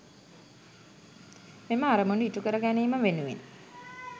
මෙම අරමුණු ඉටු කර ගැනීම වෙනුවෙන්